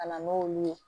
Ka na n'olu ye